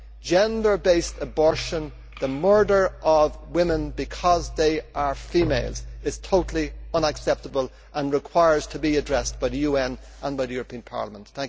Gender based abortion the murder of women because they are females is totally unacceptable and must be addressed by the UN and the European Parliament.